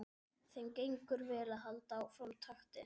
Þeim gengur vel að halda sama takti.